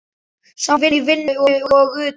Saman í vinnu og utan.